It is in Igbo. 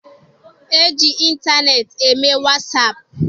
E ji ịntaneetị eme wasaapụ.